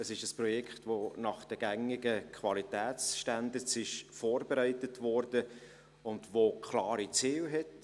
Es ist ein Projekt, das nach den gängigen Qualitätsstandards vorbereitet wurde und klare Ziele hat: